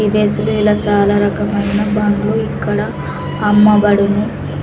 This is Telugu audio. ఇలా చాలా రకమైన బండ్లు ఇక్కడ అమ్మబడును.